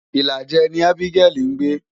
Ìlàjẹ ni Abigail ń gbé.